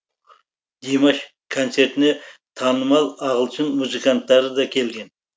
димаш концертіне танымал ағылшын музыканттары да келген